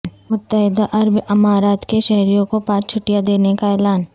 متحدہ عرب امارات کے شہریوں کو پانچ چھٹیاں دینے کا اعلان